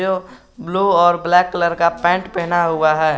Blue और black colour का paint पहना हुआ है।